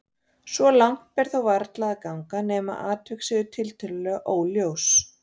Svo langt ber þó varla að ganga nema atvik séu tiltölulega augljós.